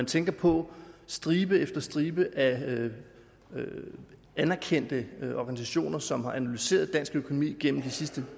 tænke på at stribe efter stribe af anerkendte organisationer som har analyseret dansk økonomi gennem de sidste